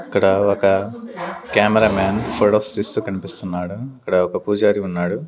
ఇక్కడ ఒక cameraman photos తీస్తూ కన్పిస్తున్నాడు ఇక్కడ ఒక పూజారి ఉన్నాడు.